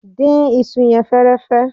Dín isu yẹn fẹ́ẹ́rẹ́fẹ́.